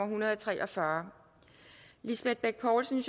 hundrede og tre og fyrre lisbeth bech poulsen